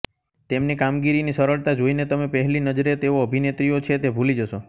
તેમની કામગીરીની સરળતા જોઇને તમે પહલી નજરે તેઓ અભિનેત્રીઓ છે તે ભૂલી જશો